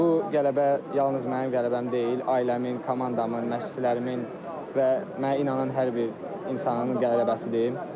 Bu qələbə yalnız mənim qələbəm deyil, ailəmin, komandamın, məşqçilərimin və mənə inanan hər bir insanın qələbəsidir.